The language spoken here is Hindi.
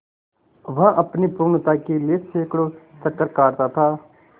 वह अपनी पूर्णता के लिए सैंकड़ों चक्कर काटता था